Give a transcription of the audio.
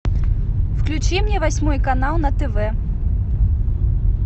включи мне восьмой канал на тв